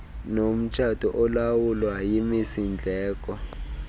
nomtshato olawulwa yimisindleko